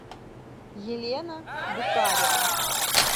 елена букарева